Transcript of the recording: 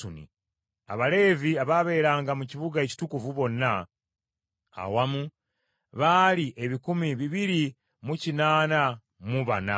Abaleevi abaabeeranga mu kibuga ekitukuvu bonna awamu, baali ebikumi bibiri mu kinaana mu bana (284).